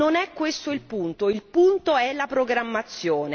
Ma non è questo il punto il punto è la programmazione!